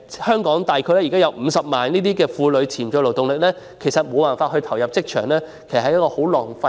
香港現時約有50萬名婦女的潛在勞動力，無法投入職場，這些資源都浪費了。